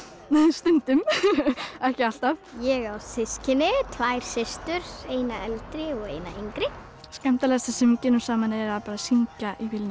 stundum ekki alltaf ég á systkini tvær systur eina eldri og eina yngri skemmtilegasta sem við gerum saman er að syngja í bílnum